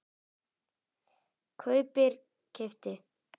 kaupir- keypti